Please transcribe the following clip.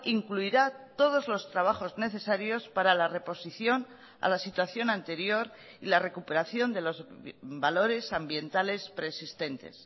incluirá todos los trabajos necesarios para la reposición a la situación anterior y la recuperación de los valores ambientales preexistentes